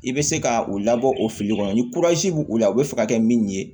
I bɛ se ka u labɔ o fili kɔnɔ ni bɛ u la u bɛ fɛ ka kɛ min ye